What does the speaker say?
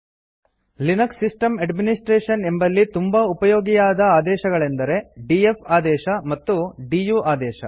Linux system administration ಎಂಬಲ್ಲಿ ತುಂಬಾ ಉಪಯೋಗಿಯಾದ ಆದೇಶಗಳೆಂದರೆdf ಆದೇಶ ಮತ್ತು ಡಿಯು ಆದೇಶ